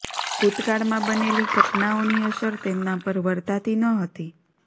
ભૂતકાળમાં બનેલી ઘટનાઓની અસર તેમના પર વર્તાતી ન હતી